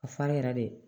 A farin yɛrɛ de